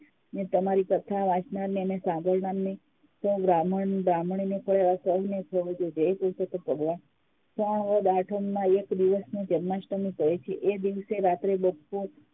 તમારી કથા યાચનાર અને સાંભળનારને બ્રાહ્મણ બ્રાહ્મણીને ફર્યા એવા સૌને ફળજો જય પુરુષોત્તમ ભગવાન શ્રાવણ વદ આઠમના એક દિવસને જન્માષ્ટમી કહે છે એ દિવસે રાત્રે